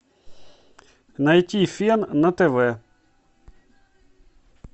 найти фен на тв